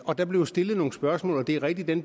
og der blev stillet nogle spørgsmål det er rigtigt at